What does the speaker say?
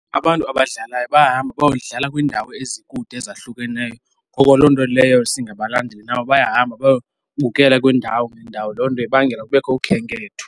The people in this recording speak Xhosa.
Abantu abadlalayo bayahamba bayodlala kwiindawo ezikude ezahlukeneyo. Ngoko loo nto leyo singabalandeli nabo bayahamba bayobukela kwiindawo ngeendawo. Loo nto ibangela kubekho ukhenketho.